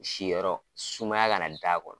Si yɔrɔ sumaya ka na da a kɔnɔ.